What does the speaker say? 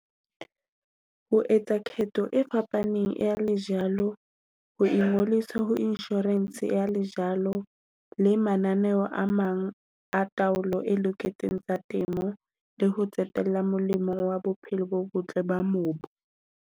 Ho etsa ketho e fapaneng ya lejalo, ho ingolisa ho insurance ya lejalo, le mananeo a mang a taolo e loketseng tsa temo, le ho qetella molemong wa bophelo bo botle ba mobu.